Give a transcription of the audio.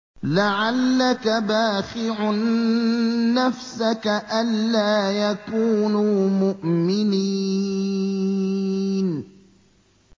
لَعَلَّكَ بَاخِعٌ نَّفْسَكَ أَلَّا يَكُونُوا مُؤْمِنِينَ